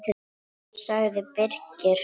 sagði Birkir.